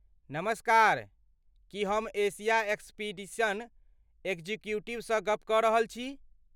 नमस्कार! की हम एशिया एक्सपीडिशन एग्जीक्यूटिवसँ गप्प कऽ रहल छी?